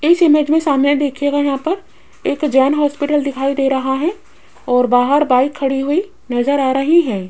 इस इमेज मे सामने देखियेगा यहां पर एक जैन हॉस्पिटल दिखाई दे रहा है और बाहर बाइक खड़ी हुई नज़र आ रही है।